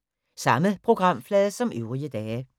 Samme programflade som øvrige dage